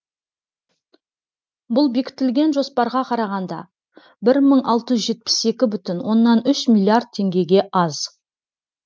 бұл бекітілген жоспарға қарағанда бір мың алты жүз жетпіс екі бүтін оннан үш миллиард теңгеге аз